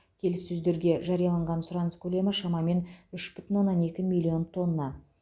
келіссөздерде жарияланған сұраныс көлемі шамамен үш бүтін оннан екі миллион тонна